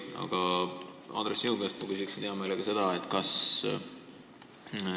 Aga, Andres, sinu käest ma küsin hea meelega niisugust asja.